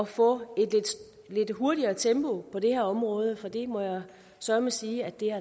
få et lidt hurtigere tempo på det her område for det må jeg søreme sige at der